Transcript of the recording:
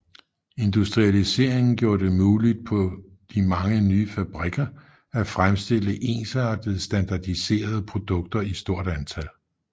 Industrialiseringen gjorde det muligt på de mange ny fabrikker at fremstille ensartede standardiserede produkter i stort antal